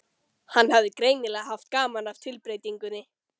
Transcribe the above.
Hann hafði greinilega haft gaman af tilbreytingunni.